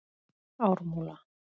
Ármúla